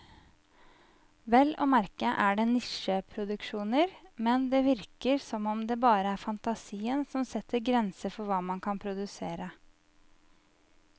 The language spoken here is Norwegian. Vel å merke er det nisjeproduksjoner, men det virker som om det bare er fantasien som setter grenser for hva man kan produsere.